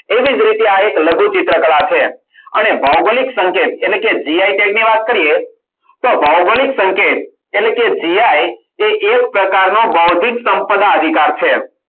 એવી જ રીતે આ એક લઘુ ચિત્રકલા છે. અને ભૌગોલિક સંકેત એટલે કે gi tag ની વાત કરીએ. તો ભૌગોલિક સંકેત એટલે કે gi એ એક પ્રકારનો બૌદ્ધિક સંપદા અધિકાર છે.